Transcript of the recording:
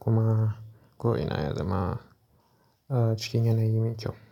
kuma ko'ina ya zama cikin yanayi mai kyau.